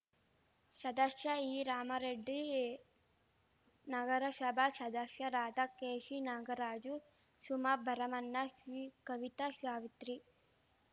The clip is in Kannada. ಷದಶ್ಯ ಈರಾಮಾರೆಡ್ಡಿ ನಗರಷಭಾ ಷದಶ್ಯರಾದ ಕೆಶಿನಾಗರಾಜು ಶುಮಾ ಭರಮಣ್ಣ ಶಿಕವಿತಾ ಶಾವಿತ್ರಿ